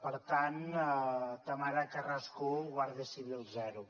per tant tamara carrasco u guàrdia civil zero